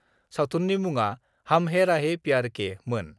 सावथुननि मुडा 'हम हैं राहि प्यार के' मोन।